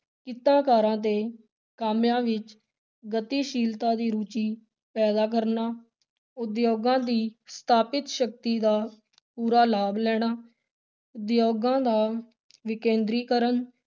ਕਿੱਤਾਕਾਰਾਂ ਤੇ ਕਾਮਿਆਂ ਵਿਚ ਗਤੀਸ਼ੀਲਤਾ ਦੀ ਰੁਚੀ ਪੈਦਾ ਕਰਨਾ, ਉਦਯੋਗਾਂ ਦੀ ਸਥਾਪਿਤ ਸ਼ਕਤੀ ਦਾ ਪੂਰਾ ਲਾਭ ਲੈਣਾ, ਉਦਯੋਗਾਂ ਦਾ ਵਿਕੇਂਦਰੀਕਰਨ,